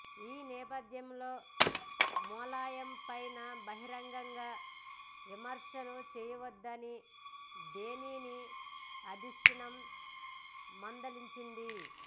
ఈ నేపథ్యంలో ములాయం పైన బహిరంగంగా విమర్శలు చేయవద్దని బేణిని అధిష్టానం మందలించింది